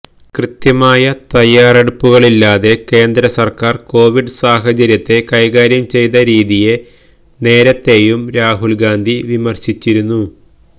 കൃത്യമായ തയ്യാറെടുപ്പുകളില്ലാതെ കേന്ദ്രസര്ക്കാര് കോവിഡ് സാഹചര്യത്തെ കൈകാര്യം ചെയ്ത രീതിയെ നേരത്തെയും രാഹുല് ഗാന്ധി വിമര്ശിച്ചിരുന്നു